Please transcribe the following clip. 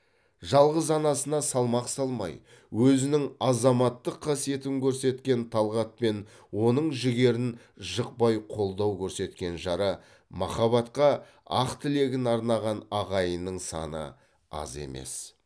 жалғыз анасына салмақ салмай өзінің азаматтық қасиетін көрсеткен талғат пен оның жігерін жықпай қолдау көрсеткен жарымахаббатқа ақ тілегін арнаған ағайынның саны аз емес